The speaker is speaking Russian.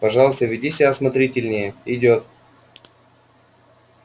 пожалуйста веди себя осмотрительнее идёт